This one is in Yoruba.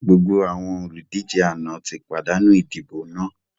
Gbogbo àwọn olùdíje àná ti pàdánù idibo náà!